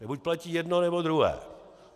Buď platí jedno, nebo druhé.